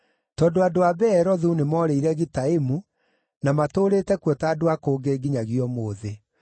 tondũ andũ a Beerothu nĩmoorĩire Gitaimu na matũũrĩte kuo ta andũ a kũngĩ nginyagia ũmũthĩ.